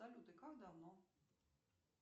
салют и как давно